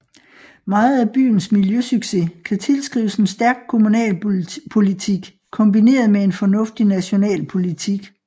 Meget af byens miljøsucces kan tilskrives en stærk kommunalpolitik kombineret med en fornuftig national politik